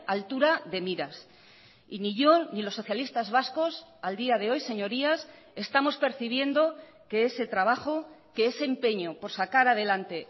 altura de miras y ni yo ni los socialistas vascos al día de hoy señorías estamos percibiendo que ese trabajo que ese empeño por sacar adelante